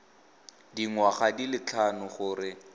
dingwaga di le tlhano gore